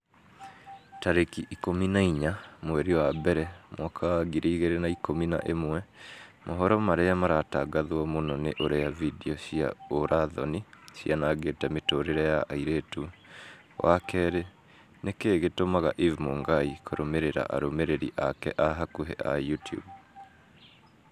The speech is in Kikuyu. tarĩki ikũmi na inya mweri wa mbere mwaka wa ngiri igĩrĩ na ikũmi na ĩmwe mohoro marĩa maratangatwo mũno ni ũrĩa findio cia ũũra-thoni cianangĩte mĩtũrĩre ya airĩtu wa kerĩ nĩkĩĩ gĩtũmaga eve mũngai kũrũmĩrĩra arũmĩrĩri ake a hakuhi a YouTUBE